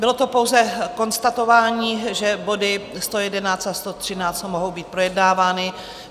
Bylo to pouze konstatování, že body 111 a 113 mohou být projednávány.